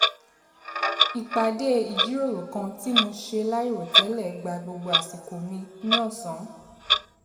ìpàdé ìjíròrò kan tí mo ṣe láìròtẹ́lẹ̀ gba gbogbo àsìkò mi ní ọ̀sán